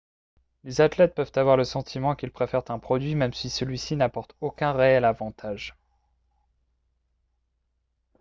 les athlètes peuvent avoir le sentiment qu'ils préfèrent un produit même si celui-ci n'apporte aucun réel avantage